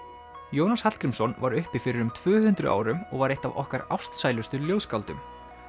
Jónas Hallgrímsson var uppi fyrir um tvö hundruð árum og var eitt af okkar ástsælustu ljóðskáldum